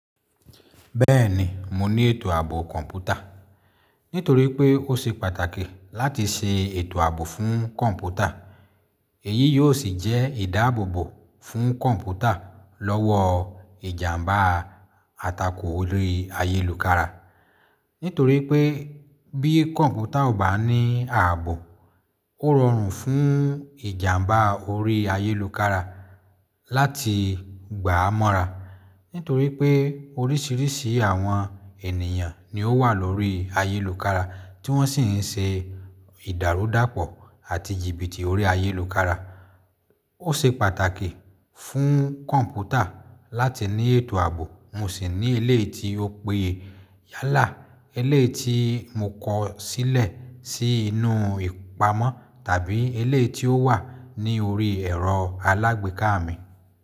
Bẹ́ẹ̀ni, mo ní ètò ààbò kọ̀m̀pútà. Nítorí pé ó ṣe pàtàkì láti ṣe ètò ààbò fún kọ̀m̀pútà. Èyí yóò sì jẹ́ ìdáàbòbò fún kọ̀m̀pútà lọ́wọ́ ìjàmbá atako orí ayélùkára. Nítorí pé bí kọ̀m̀pútà ò bá ní ààbò, ó rọrùn fún ìjàmbá orí ayélùkára láti gbà á mọ́ra. Nítorí pé oríṣiríṣi àwọn ènìyàn ni ó wà lórí ayélùkára tí wọ́n sì ń ṣe ìdàrúdàpọ̀ àti jìbìtì orí ayélùkára. Ó ṣe pàtàkì fún kọ̀m̀pútà láti ní ètò ààbò. Mo sì ní eléyìí tí ó péye yálà, eléyìí tí mo kọ̀ ọ́ sílẹ̀ sí inú ìpamọ́ tàbí eleyii tí ó wà ní orí ẹ̀rọ alágbèéká mi.